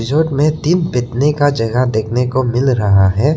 में तीन बैठने का जगह देखने को मिल रहा है।